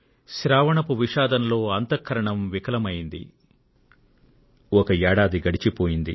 శ్రావణ మాసపు భారత కుంభం ఒలికిపోయింది